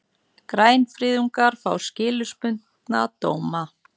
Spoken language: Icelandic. Grænfriðungar fá skilorðsbundna dóma